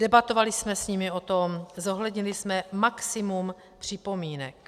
Debatovali jsme s nimi o tom, zohlednili jsme maximum připomínek.